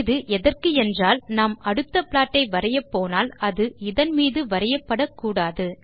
இது எதற்கு என்றால் நாம் அடுத்த ப்லாட்டை வரையப்போனால் அது இதன் மீது வரையப் படக்கூடாது